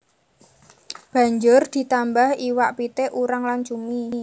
Banjur ditambah iwak pitik urang lan cumi